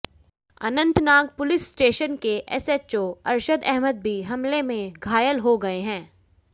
Anantnag police station के SHO Arshad Ahmad भी हमले में घायल हो गए हैं